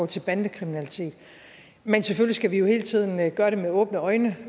til bandekriminalitet men selvfølgelig jo hele tiden gøre det med åbne øjne